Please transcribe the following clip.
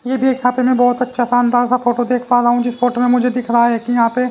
ये भी एक यहां पे मैं बहुत अच्छा शानदार सा फोटो देख पा रहा हूं जिस फोटो में मुझे दिख रहा है कि यहां पे--